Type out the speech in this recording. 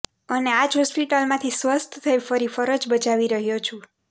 અને આ જ હોસ્પિટલમાંથી સ્વસ્થ થઇ ફરી ફરજ બજાવી રહયો છું